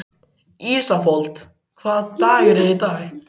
Ísafold, hvaða dagur er í dag?